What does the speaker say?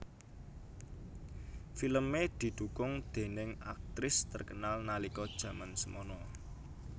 Filmé didukung déning aktris terkenal nalika jaman semana